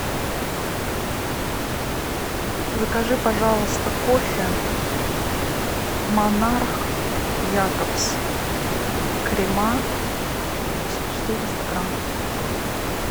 закажи пожалуйста кофе монарх якобс крема четыреста грамм